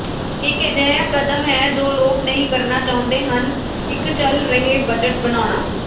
ਇੱਕ ਅਜਿਹਾ ਕਦਮ ਹੈ ਜੋ ਲੋਕ ਨਹੀਂ ਕਰਨਾ ਚਾਹੁੰਦੇ ਹਨ ਇੱਕ ਚੱਲ ਰਹੇ ਬਜਟ ਬਣਾਉਣਾ